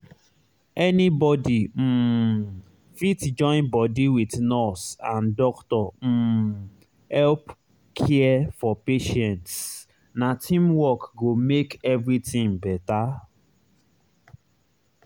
anybody um fit join body wit nurse and doctor um help care for patients na teamwork go make everything better.